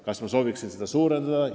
Kas ma sooviksin seda suurendada?